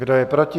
Kdo je proti?